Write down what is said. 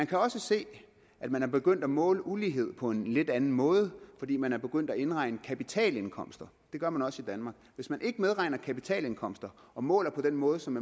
kan også se at man er begyndt at måle ulighed på en lidt anden måde fordi man er begyndt at indregne kapitalindkomster det gør man også i danmark hvis man ikke medregner kapitalindkomster og måler på den måde som